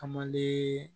A man di